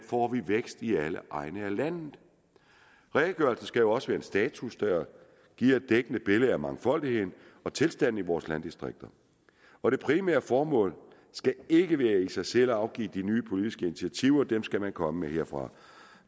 får vækst i alle egne af landet redegørelsen skal jo også være en status der giver et dækkende billede af mangfoldigheden og tilstanden i vores landdistrikter og det primære formål skal ikke i sig selv være at afgive de nye politiske initiativer dem skal man komme med herfra